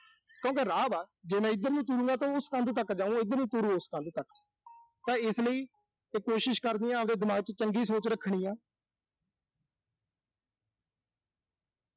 ਕਿਉਂ ਕਿ ਰਾਹ ਵਾ। ਜੇ ਮੈਂ ਇਧਰ ਨੂੰ ਤੁਰੂੰ, ਉਸ ਕੰਧ ਤੱਕ ਜਾਊਂਗਾ ਤੇ ਜੇ ਇਧਰ ਨੂੰ ਤੁਰੂੰ ਉਸ ਕੰਧ ਤੱਕ। ਤਾਂ ਇਸ ਲਈ ਤੇ ਕੋਸ਼ਿਸ਼ ਕਰਨੀ ਆ, ਆਬਦੇ ਦਿਮਾਗ ਵਿੱਚ ਚੰਗੀ ਸੋਚ ਰੱਖਣੀ ਆ।